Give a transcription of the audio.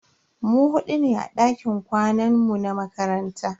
Mu hudu ne a dakin kwanan mu na makaranta.